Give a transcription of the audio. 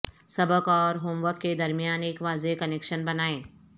سبق اور home work کے درمیان ایک واضح کنکشن بنائیں